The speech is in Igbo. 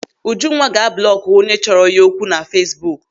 Ujunwa ga-ablọọkụ chọrọ ya okwu na Feesbuk.